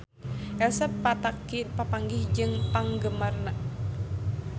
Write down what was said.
Elsa Pataky papanggih jeung penggemarna